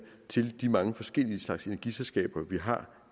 til de mange forskellige energiselskaber vi har